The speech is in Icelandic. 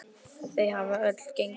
Þau hafa öll gengið vel.